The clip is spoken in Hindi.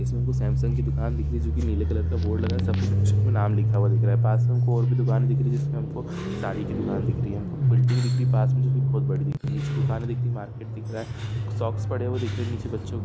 इसमे हमको सैमसंग की दुकान दिख रही जो की नीले कलर का बोर्ड लगा है सफ़ेद अक्षरों में नाम लिखा हुआ दिख रहा है पास मे और भी दुकाने दिख रही जिसमे हमको साड़ी की दुकान दिख रही हमको बिल्डिंग भी दिख रही पास मे जो की बहुत बड़ी दिख रही कुछ दुकाने दिख रही मार्केट दिख रहा है सॉक्स पड़े हुए दिख रहे नीचे बच्चो--